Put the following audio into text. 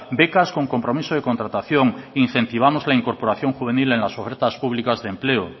becas con compromiso de contratación incentivamos la incorporación juvenil en las ofertas públicas de empleo